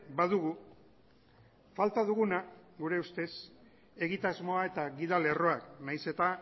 badugu falta duguna gure ustez egitasmoa eta gidalerroa nahiz eta